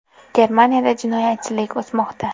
Germaniyada jinoyatchilik o‘smoqda.